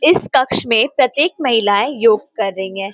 इस कक्ष में प्रत्येक महिलाएं योग कर रही है।